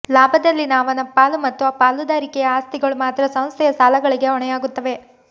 ಲಾಭದಲ್ಲಿನ ಅವನ ಪಾಲು ಮತ್ತು ಪಾಲುದಾರಿಕೆಯ ಆಸ್ತಿಗಳು ಮಾತ್ರ ಸಂಸ್ಥೆಯ ಸಾಲಗಳಿಗೆ ಹೊಣೆಯಾಗುತ್ತವೆ